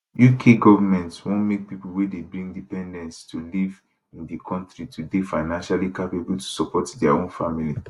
uk goment wan make pipo wey dey bring dependants to live in di kontri to dey financially capable to support dia own family